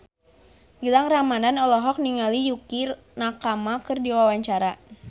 Gilang Ramadan olohok ningali Yukie Nakama keur diwawancara